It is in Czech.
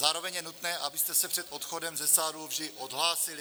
Zároveň je nutné, abyste se před odchodem ze sálu vždy odhlásili.